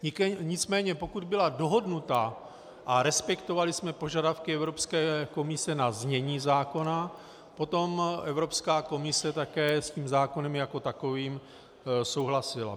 Nicméně pokud byla dohodnuta a respektovali jsme požadavky Evropské komise na znění zákona, potom Evropská komise také s tím zákonem jako takovým souhlasila.